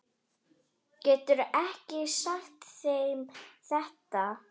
Geturðu ekki sagt þeim þetta.